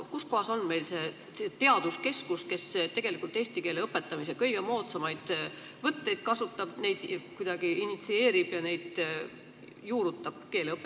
Kuskohas on meil see teaduskeskus, kes tegelikult eesti keele õpetamise kõige moodsamaid võtteid kasutab, neid kuidagi initsieerib ja neid keeleõpetusse juurutab?